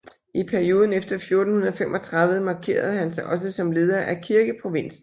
I perioden efter 1435 markerede han sig også som leder af kirkeprovinsen